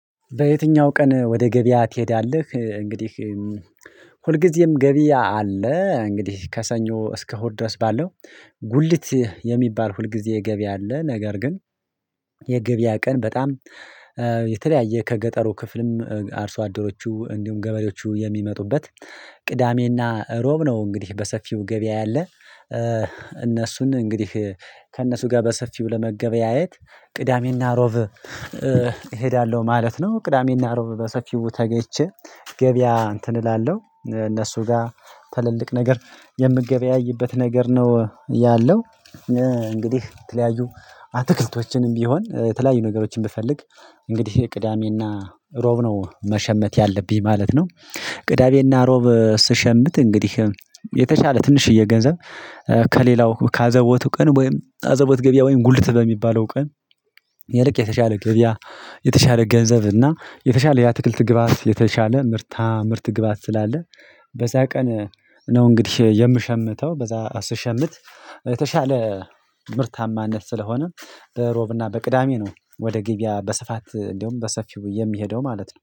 በየትኛው ቀን ወደ ገበያ ትሄዳለህ? እንግዲህ ሁልጊዜም ገበያ አለ እንግዲህ ከሰኞ እስከ ሆር ድረስ ባለው ጉልት የሚባል ሁልጊዜ ገቢ አለ። ነገር ግን የገቢያ ቀን በጣም የተለያየ ከገጠሩ ክፍልም አርሶ አደሮቹ እንዲሁም ገበሬዎቹ የሚመጡበት ቅዳሜና ሮብ ነው። እንግዲህ በሰፊው ገበያ ያለ እነሱን እንግዲህ ከእነሱ ጋር በሰፊው ለመገበያየት ቅዳሜና ሮብ እሄዳለሁ ማለት ነው። ቅዳሜና ሮብ በሰፊው ተገች ገበያ እንትን እላለሁ እነሱ ጋር ትልልቅ ነገር የምገበያይበት ነገር ነው ያለው። እንግዲህ የተለያዩ አትክልቶችንም ቢሆን የተለያዩ ነገሮችን ብፈልግ እንግዲህ ቅዳሜና ሮብ ነው መሸመት ያለብኝ ማለት ነው። ቅዳሜና ሮብ ስሸምት እንግዲህ የተሻለ ትንሽዬ ገንዘብ ከሌላው ከአዘቦቱ ቀን ወይም አዘቦት ገብያ ወይም ጉልት በሚባለው ቀን። የልክ የተሻለ ገብያ የተሻለ ገንዘብ እና የተሻለ ያ የትክልት ግብአት የተሻለ ምርታ ምርት ግብአት ስላለ በዛ ቀን ነው። እንግዲህ የምሸምተው በዛ ስሸምት የተሻለ ምርታማነት ስለሆነ ሮብና በቅዳሜ ነው ወደ ገበያ በስፋት እንደውም በሰፊው የሚሄደው ማለት ነው